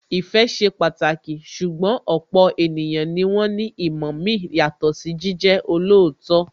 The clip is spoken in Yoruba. Ìfẹ́ ṣe pàtàkì, ṣùgbọ́n ọ̀pọ̀ ènìyàn ni wón ní ìmọ̀ mi yàtọ̀ sí jíjẹ́ olóòótọ́